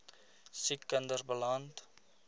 siek kinders beland